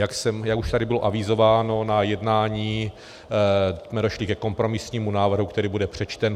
Jak už tady bylo avizováno, na jednání jsme došli ke kompromisnímu návrhu, který bude přečten.